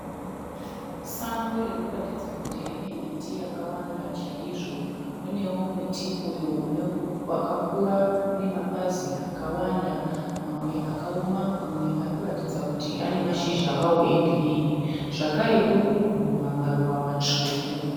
Sango ririkuratidza kuti rine miti yakawanda chaizvo. Munewo muti uyo wakakura une mapazi akawanda, mamwe akaoma mamwe arikuratidza kuti anemashizha awo egirinhi, zvakare uri kubhuruma maruva matsvuku.